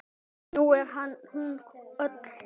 Nú er hún öll.